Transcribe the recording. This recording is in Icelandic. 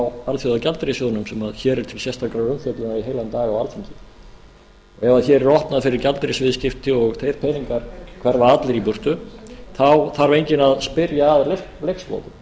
alþjóðagjaldeyrissjóðnum sem hér er til sérstakrar umfjöllunar heilan dag á alþingi ef hér er opnað fyrir gjaldeyrisviðskipti og þeir peningar hverfa allir í burtu þá þarf enginn að spyrja að leikslokum og